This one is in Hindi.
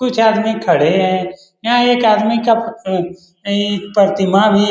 कुछ आदमी खड़े हैं यहाँ एक आदमी का प्रतिमा भी --